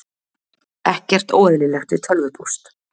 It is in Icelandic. Ekkert óeðlilegt við tölvupóst